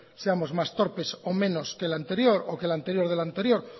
seamos más torpes o menos que el anterior o que el anterior del anterior